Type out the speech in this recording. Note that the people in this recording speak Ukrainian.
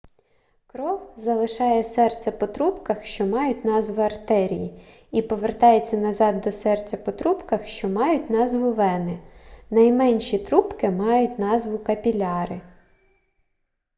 кров залишає серце по трубках що мають назву артерії і повертається назад до серця по трубках що мають назву вени найменші трубки мають назву капіляри